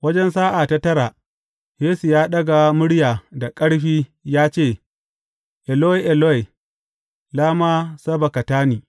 Wajen sa’a ta tara, Yesu ya ɗaga murya da ƙarfi ya ce, Eloi, Eloi, lama sabaktani?